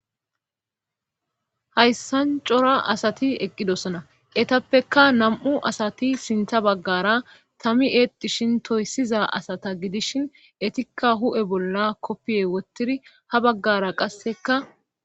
Xayssan cora asati eqqidosona etappeka nam7u asati sintha baggara tami eetishin toyssiza asata gidishin etikka hu7e bolla koppiye wottidi ha baggara qasseka